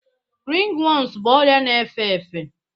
Ringworms bụ ọrịa na-efe efe